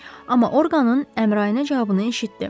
Amma Orqanın Əmrayinə cavabını eşitdi.